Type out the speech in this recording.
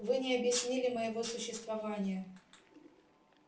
вы не объяснили моего существования